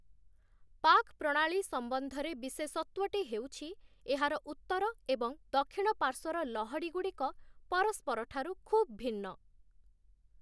ପାକ୍ ପ୍ରଣାଳୀ ସମ୍ବନ୍ଧରେ ବିଶେଷତ୍ୱଟି ହେଉଛି, ଏହାର ଉତ୍ତର ଏବଂ ଦକ୍ଷିଣ ପାର୍ଶ୍ୱର ଲହଡ଼ିଗୁଡ଼ିକ ପରସ୍ପରଠାରୁ ଖୁବ୍‌ ଭିନ୍ନ ।